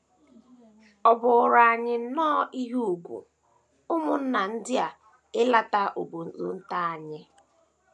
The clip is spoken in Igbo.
Ọ bụụrụ anyị nnọọ ihe ùgwù, ụmụnna ndị a ileta obodo nta anyị.